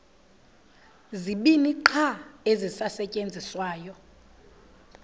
zibini qha ezisasetyenziswayo